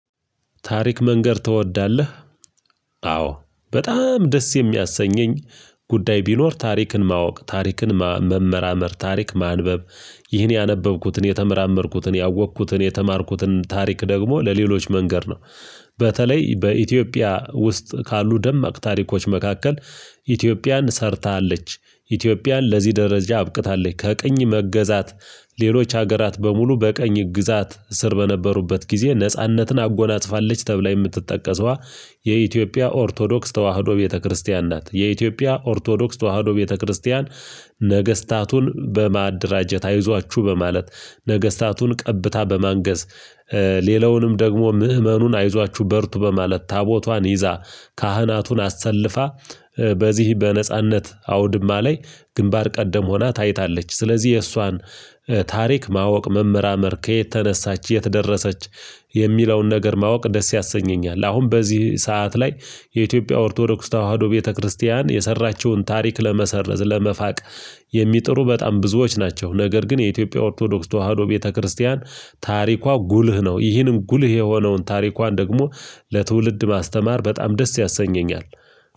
ታሪክ መንገር ትወዳለህ? አዎ በጣም ደስ የሚያሰኘኝ ጉዳይ ቢኖር ታሪክን ማወቅ ታሪክን መመራመር ታሪክ ማንበብ ይህን ያነበብኩትን የተመራመርኩትን ያወቅኩትን የተማርኩትን ታሪክ ደግሞ ለሌሎች መንገድ ነው። በተለይ በኢትዮጵያ ውስጥ ካሉ ደማቅ ታሪኮች መካከል ኢትዮጵያን ሰርታለች ኢትዮጵያን ለዚህ ደረጃ አብቅታለች። ከቅኝ ሌሎች ሀገራት በሙሉ በቀኝ ግዛት ስር በነበሩበት ጊዜ ነጻነትን አጎናጽፋለች ተብላ የምትጠቀሰው የኢትዮጵያ ኦርቶዶክስ ተዋህዶ ቤተክርስቲያን ናት። የኢትዮጵያ ኦርቶዶክስ ተዋህዶ ቤተክርስቲያን ነገስታቱን በማደራጀት አይዟችሁ በማለት ነገስታቱን ቀብታ በማንገስ ሌላውንም ደግሞ ምእመኑን አይዟችሁ በርቱ በማለት ታቦቷን ይዛ ካህናቱን አሰልፋ በዚህ በነጻነት አውድማ ላይ ግንባር ቀደም ሆና ታይታለች። ስለዚህ የእሷን ታሪክ ማወቅ መመራመር ከየት ተነሳች የት ደረሰች የሚለውን ነገር ማወቅ ደስ ያሰኘኛል። አሁን በዚህ ሰዓት ላይ የኢትዮጵያ ኦርቶዶክስ ተዋህዶ ቤተክርስቲያን የሰራችውን ታሪክ ለመሰረዝ ለመፋቅ የሚጥሩ በጣም ብዙዎች ናቸው። ነገር ግን የኢትዮጵያ ኦርቶዶክስ ተዋህዶ ቤተክርስቲያን ታሪኳ ጉልህ ነው። እሂን ጉልህ የሆነውን ታሪኳን ደግሞ ለትውልድ ማስተማር በጣም ደስ ያሰኘኛል።